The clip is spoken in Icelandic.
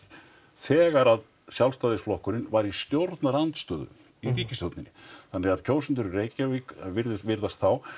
þegar að Sjálfstæðisflokkurinn var í stjórnarandstöðu í ríkisstjórninni þannig að kjósendur í Reykjavík virðast virðast þá